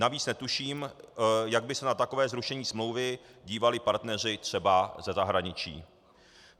Navíc netuším, jak by se na takové zrušení smlouvy dívali partneři třeba ze zahraničí.